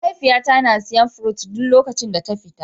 Mahaifiya na ta na siya fruit duk lokacin da ta fita.